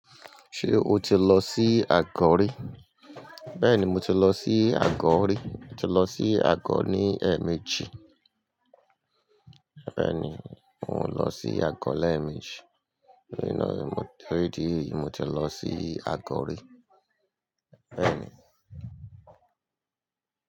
Ṣé o ti lọ sí Àgọ́ rí? Bẹ́ẹ̀ni mo ti lọ sí Àgọ́ rí. Mo ti lọ sí Àgọ́ ní ẹ̀ẹ̀mejì. Bẹ́ẹ̀ni mò ń lọ sí Àgọ́ lẹ́ẹ̀mejì. Ní ìnáwó rí díì, mo ti lọ sí Àgọ́ rí. Bẹ́ẹ̀ni.